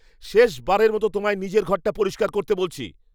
শেষবারের মতো তোমায় নিজের ঘরটা পরিষ্কার করতে বলছি।